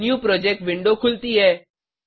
new project window खुलती है